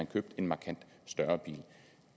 købt en markant større bil